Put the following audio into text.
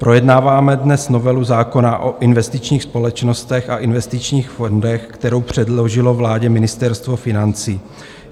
Projednáváme dnes novelu zákona o investičních společnostech a investičních fondech, kterou předložilo vládě Ministerstvo financí.